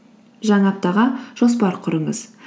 жаңа аптаға жоспар құрыңыз